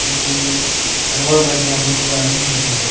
ಮತ್ತು ಇಲ್ಲಿ ಹಲವಾರು ಬಗೆಯ ಬುಕ್ ಗಳನ್ನು ನೋಡಬಹುದು.